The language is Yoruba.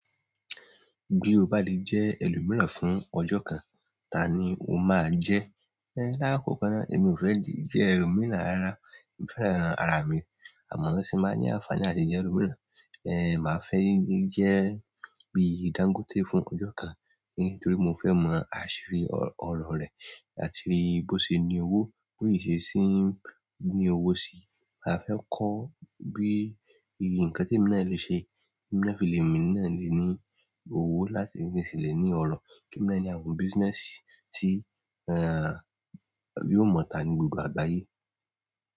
Bí o bá lè jẹ́ ẹlòmíràn fún ọjọ́ kan, ta ni o máa jẹ́? Ẹ̀, láàkókò náà, èmi ò fẹ́ jẹ́ ẹlòmíràn rárá. Mo fẹ́ran ara mi. Àmọ́ tí mo bá ní àfààní láti jẹ́ ẹlòmíràn, ẹ̀, màá fẹ́ jẹ́ bi Dangote fún ọjọ́ kan, nítorí mo fẹ́ mọ àṣírí ọ̀rọ̀ rẹ̀, àti bí ó ṣe ń ní owó, bóyìí ṣe sì ń ní owó sí i. Màá fẹ́ kọ bí i ǹkan tí mo le ṣe kí mo lè fi lèmi náà lè ní owó láti fi ṣèlérí ọ̀rọ̀. Kí mo lè ní àwọn business tí, ẹ́ẹ́, yóò mọ̀ tán ní gbogbo àgbáyé.